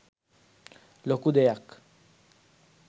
ලොකු දෙයක්